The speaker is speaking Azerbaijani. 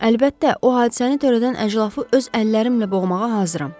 Əlbəttə, o hadisəni törədən əclafı öz əllərimlə boğmağa hazıram.